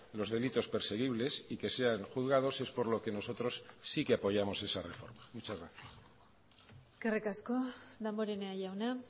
los delitos perseguibles y que sean juzgados es por lo que nosotros sí que apoyamos esa reforma muchas gracias eskerrik asko damborenea jauna